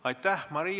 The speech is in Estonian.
Aitäh!